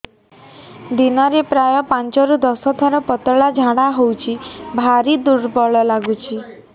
ଦିନରେ ପ୍ରାୟ ପାଞ୍ଚରୁ ଦଶ ଥର ପତଳା ଝାଡା ହଉଚି ଭାରି ଦୁର୍ବଳ ଲାଗୁଚି